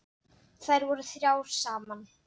Þær voru þrjár saman.